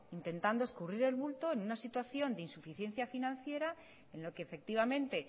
intentando escurrir el bulto en una situación de insuficiencia financiera en lo que efectivamente